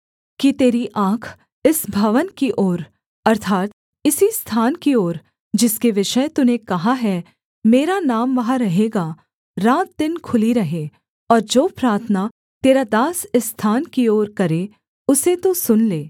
कि तेरी आँख इस भवन की ओर अर्थात् इसी स्थान की ओर जिसके विषय तूने कहा है मेरा नाम वहाँ रहेगा रात दिन खुली रहें और जो प्रार्थना तेरा दास इस स्थान की ओर करे उसे तू सुन ले